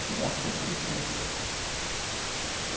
Queria ser quando crescer